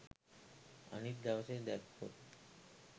අනිත් දවසේ දැක්කොත්